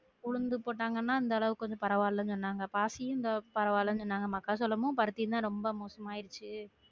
உளுந்து போட்டாங்கன்னா இந்த அளவுக்கு கொஞ்சம் பரவாலன்னு சொன்னாங்க பாசி இந்த பரவாலன்னு சொன்னாங்க மக்காச்சோளமும் பருத்தியும் தான் ரொம்ப மோசமா ஆயிருச்சு